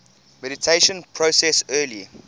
mediation process early